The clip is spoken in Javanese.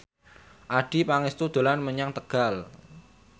Adjie Pangestu dolan menyang Tegal